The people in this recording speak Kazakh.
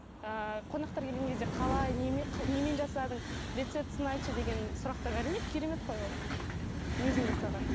ыыы қонақтар келген кезде қалай немен жасадың рецептісін айтшы деген сұрақтар әрине керемет қой ол өзің жасаған